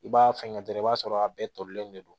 I b'a fɛngɛ dɔrɔn i b'a sɔrɔ a bɛɛ tolilen de don